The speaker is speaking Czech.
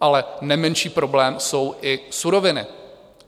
Ale nemenší problém jsou i suroviny.